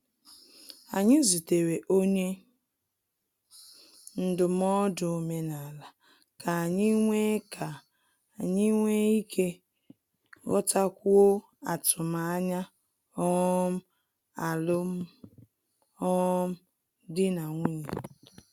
Anyị zutere onye ndụmọdụ omenala ka anyị nwe ka anyị nwe ike ghọtakwuo atụmanya um alum um dị na nwunye